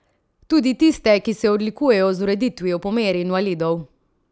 Tudi tiste, ki se odlikujejo z ureditvijo po meri invalidov?